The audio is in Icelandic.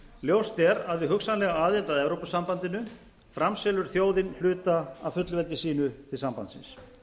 ljóst er að við hugsanlega aðild að evrópusambandinu framselur þjóðin hluta af fullveldi sínu til sambandsins